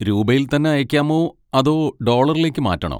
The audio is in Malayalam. രൂപയിൽ തന്നെ അയയ്ക്കാമോ അതോ ഡോളറിലേക്ക് മാറ്റണോ?